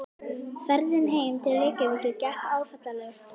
Ferðin heim til Reykjavíkur gekk áfallalaust.